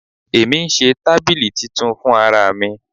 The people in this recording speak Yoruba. Èmi ń ṣe tábìlì titun fún ara mi.